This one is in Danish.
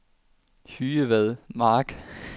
Hydevad Mark